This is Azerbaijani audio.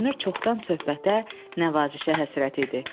Görünür, çoxdan söhbətə, nəvazişə həsrət idi.